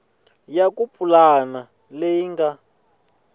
ya ku pulana leyi nga